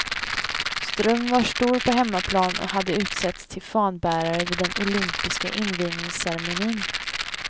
Ström var stor på hemmaplan och hade utsetts till fanbärare vid den olympiska invigningsceremonin.